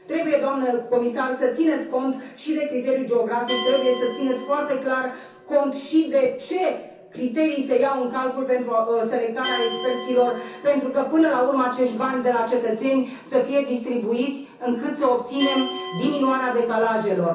Trebuie, doamnă comisar, să țineți cont și de criteriul geografic, trebuie să țineți foarte clar cont și de ce criterii se iau în calcul pentru selectarea experților, pentru ca, până la urmă, acești bani de la cetățeni să fie distribuiți astfel încât să obținem diminuarea decalajelor.